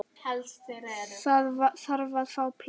Það þarf að fá pláss.